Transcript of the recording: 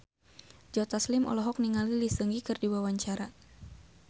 Joe Taslim olohok ningali Lee Seung Gi keur diwawancara